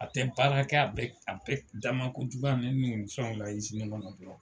A tɛ baara kɛ, a bɛ dama kojuguya nɛni ni fɛnw na kɔnɔ dɔrɔn.